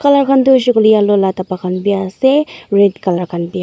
Tai khan toh hoisey koiley yellow laga daba khan vi ase red colour khan .]